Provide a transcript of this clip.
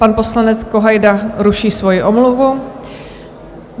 Pan poslanec Kohajda ruší svoji omluvu.